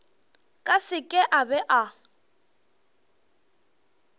ka seke a ba a